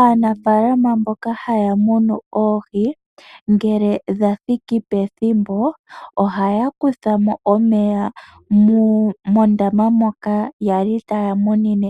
Aanafaalama mboka haya munu oohi ngele dha thiki pethimbo ohaya kutha mo omeya mondaama moka ya li taya munine